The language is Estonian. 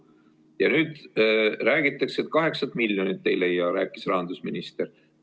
Ja nüüd kaheksat miljonit ei leia, rääkis rahandusminister.